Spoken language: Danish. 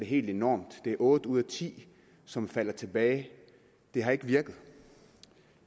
helt enormt det er otte ud af ti som falder tilbage det har ikke virket